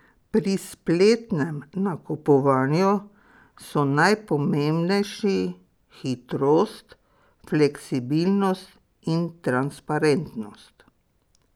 Pri spletnem nakupovanju so najpomembnejši hitrost, fleksibilnost in transparentnost.